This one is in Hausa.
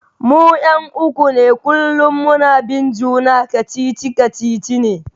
Mu 'yan'uwa uku ne kullum muna bin juna, kacici-kacici ne.